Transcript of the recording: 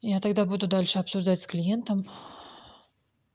я тогда буду дальше обсуждать с клиентом